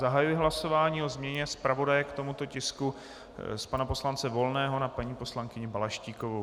Zahajuji hlasování o změně zpravodaje k tomuto tisku z pana poslance Volného na paní poslankyni Balaštíkovou.